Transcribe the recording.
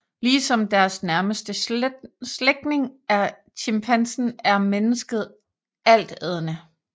Ligesom deres nærmeste slægtning chimpansen er mennesket altædende